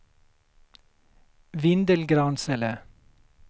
Vindelgransele